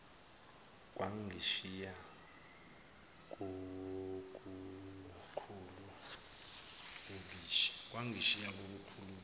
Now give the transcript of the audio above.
kwangishiya kolukhulu ubishi